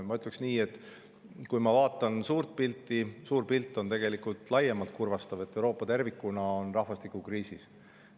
Ma ütlen nii: kui ma vaatan suurt pilti, siis suur pilt on tegelikult laiemalt kurvastav, Euroopa tervikuna on rahvastikukriisis.